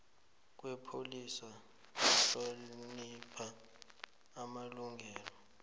kwepholisa kuhlonipha amalungelo